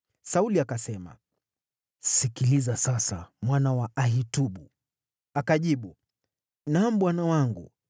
Sauli akasema, “Sikiliza sasa, mwana wa Ahitubu.” Akajibu, “Naam, bwana wangu.”